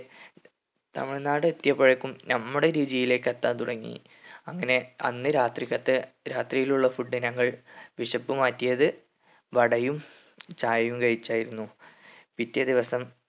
തമിഴ്‌നാട് എത്തിയപ്പോഴേക്കും നമ്മടെ രുചിയിലേക്ക് എത്താൻ തുടങ്ങി അങ്ങനെ അന്ന് രാത്രിക്കെത്തെ രാത്രിയിലുള്ള food ഞങ്ങൾ വിശപ്പ് മാറ്റിയത് വടയും ചായയും കഴിച്ചായിരുന്നു പിറ്റേ ദിവസം